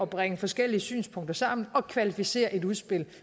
bringe forskellige synspunkter sammen og kvalificere et udspil